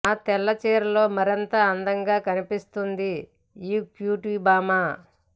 ఆ తెల్ల చీరలో మరింత అందంగా కనిపిస్తుంది ఈ క్యూట్ బామ్మ